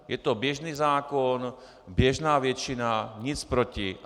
Je to běžný zákon, běžná většina, nic proti.